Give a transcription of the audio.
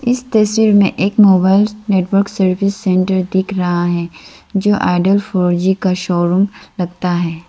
इस तस्वीर में एक मोबाइल नेटवर्क सर्विस सेंटर दिख रहा है जो आईडिया फोर जी का शोरूम लगता है।